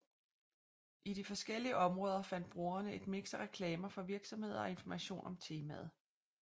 I de forskellige områder fandt brugerne et mix af reklamer for virksomheder og information om temaet